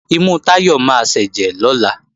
Imú Táyọ̀ máa sẹ́jẹ̀ lọ́la